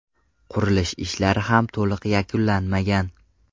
Qurilish ishlari ham to‘liq yakunlanmagan.